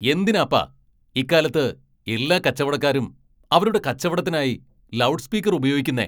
എന്തിനാപ്പാ ഇക്കാലത്ത് എല്ലാ കച്ചവടക്കാരും അവരുടെ കച്ചവടത്തിനായി ലൗഡ് സ്പീക്കർ ഉപയോഗിക്കുന്നെ?